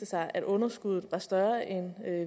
sig at underskuddet var større end